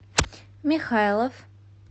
михайлов